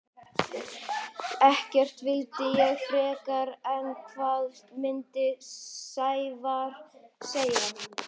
Ekkert vildi ég frekar en hvað myndi Sævar segja?